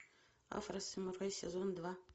афросамурай сезон два